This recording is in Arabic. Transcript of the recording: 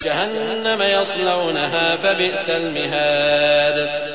جَهَنَّمَ يَصْلَوْنَهَا فَبِئْسَ الْمِهَادُ